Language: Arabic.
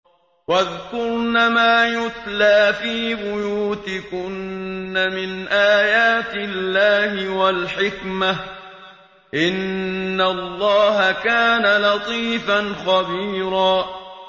وَاذْكُرْنَ مَا يُتْلَىٰ فِي بُيُوتِكُنَّ مِنْ آيَاتِ اللَّهِ وَالْحِكْمَةِ ۚ إِنَّ اللَّهَ كَانَ لَطِيفًا خَبِيرًا